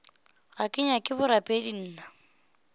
ga ke nyake borapedi nna